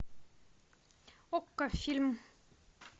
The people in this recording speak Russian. окко фильм